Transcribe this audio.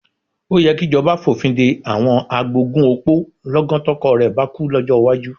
Ó yẹ kíjọba fòfin de àwọn agbógun òpó lọ́gán tọkọ rẹ bá kú, lọ́jọ́ iwájú.